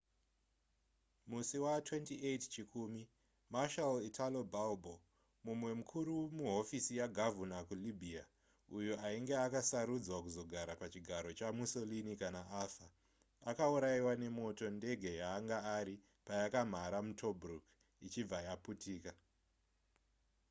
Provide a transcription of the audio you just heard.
musi wa28 chikumi marshal italo balbo mumwe mukuru muhofisi yagavhuna kulibya uyo ainge akasarudzwa kuzogara pachigaro chamussolini kana afa akaurayiwa nemoto ndege yaanga ari payakamhara mutobruk ichibva yaputika